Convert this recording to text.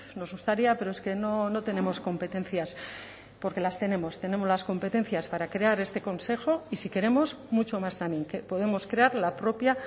nos gustaría pero es que no tenemos competencias porque las tenemos tenemos las competencias para crear este consejo y si queremos mucho más también que podemos crear la propia